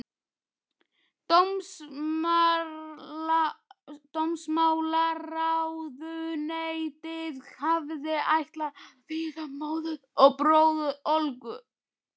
Dómsmálaráðuneytið hafði ætlað að vísa móður og bróður Olgu